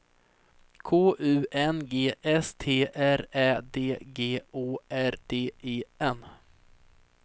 K U N G S T R Ä D G Å R D E N